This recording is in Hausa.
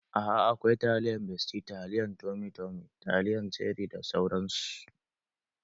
Aa akawai taliyan besti, taliyan tomi tomi, taliyan ceri da sauran su